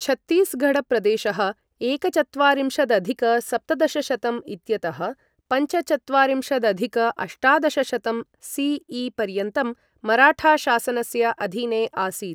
छत्तीसगढ़ प्रदेशः एकचत्वारिंशदधिक सप्तदशशतं इत्यतः पञ्चचत्वारिंशदधिक अष्टादशशतं सीई पर्यन्तं मराठाशासनस्य अधीने आसीत्।